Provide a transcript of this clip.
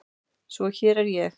Svo hér er ég.